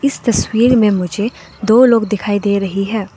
इस तस्वीर में मुझे दो लोग दिखाई दे रही हैं।